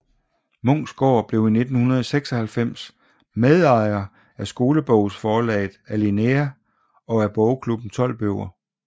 Munksgaard blev 1996 medejer af skolebogsforlaget Alinea og af Bogklubben 12 Bøger